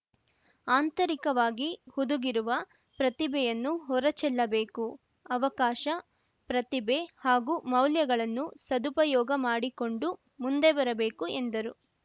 ಆಂತರಿಕವಾಗಿ ಹುದುಗಿರುವ ಪ್ರತಿಭೆಯನ್ನು ಹೊರ ಚೆಲ್ಲಬೇಕು ಅವಕಾಶ ಪ್ರತಿಭೆ ಹಾಗೂ ಮೌಲ್ಯಗಳನ್ನು ಸದುಪಯೋಗ ಮಾಡಿಕೊಂಡು ಮುಂದೆ ಬರಬೇಕು ಎಂದರು